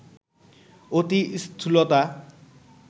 অতি স্থূলতা